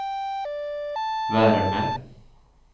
värme